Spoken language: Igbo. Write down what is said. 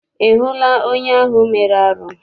Ị hụla onye ahụ mere arụ?